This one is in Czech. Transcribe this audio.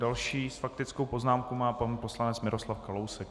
Další faktickou poznámku má pan poslanec Miroslav Kalousek.